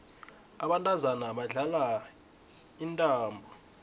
abantazana badlala intambo